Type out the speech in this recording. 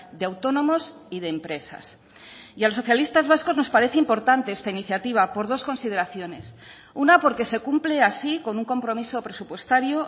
de autónomos y de empresas y a los socialistas vascos nos parece importante esta iniciativa por dos consideraciones una porque se cumple así con un compromiso presupuestario